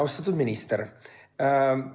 Austatud minister!